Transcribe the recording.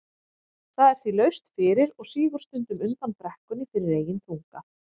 Það er því laust fyrir og sígur stundum undan brekkunni fyrir eigin þunga.